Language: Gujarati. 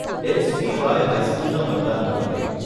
એક્સબીવાય હાઈસ્કુલના મતદાન મથકે.